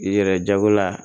I yɛrɛ jagola